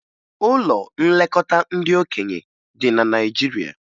Ụlọ nlekọta ndị okenye dị na Naịjirịa